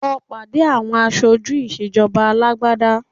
Lọ pàdé àwọn aṣojú ìṣèjọba alágbádá